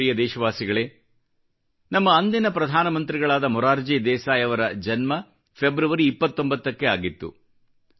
ನನ್ನ ಪ್ರ್ರಿಯ ದೇಶವಾಸಿಗಳೇ ನಮ್ಮ ದೇಶದ ಅಂದಿನ ಪ್ರಧಾನ ಮಂತ್ರಿಗಳಾದ ಮೊರಾರ್ಜಿ ದೇಸಾಯಿ ಅವರ ಜನ್ಮ ಫೆಬ್ರವರಿ 29 ಕ್ಕೆ ಆಗಿತ್ತು